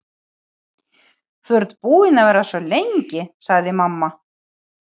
Þú ert búin að vera svo lengi, sagði mamma.